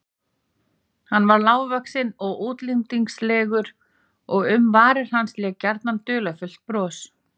Hann var lágvaxinn og útlendingslegur og um varir hans lék gjarnan dularfullt bros.